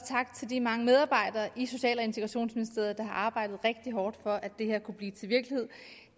tak til de mange medarbejdere i social og integrationsministeriet der har arbejdet rigtigt hårdt for at det her kunne blive til virkelighed